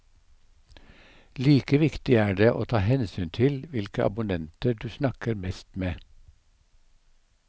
Like viktig er det å ta hensyn til hvilke abonnenter du snakker mest med.